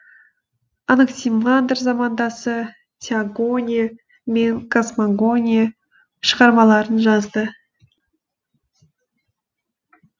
анаксимандр замандасы теогония мен космогония шығармаларын жазды